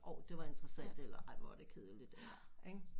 Orh det var interessant eller ej hvor var det kedeligt ikke